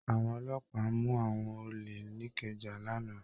Àwọn ọlọ́pàá mu awọn ole n'ikẹja l'ana.